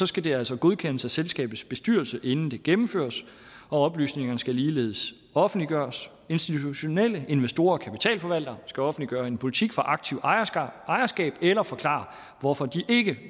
skal det altså godkendes af selskabets bestyrelse inden det gennemføres og oplysningerne skal ligeledes offentliggøres institutionelle investorer og kapitalforvaltere skal offentliggøre en politik for aktivt ejerskab eller forklare hvorfor de ikke